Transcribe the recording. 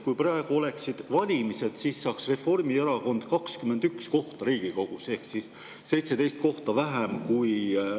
Kui praegu oleksid valimised, siis saaks Reformierakond 21 kohta Riigikogus ehk 17 kohta vähem.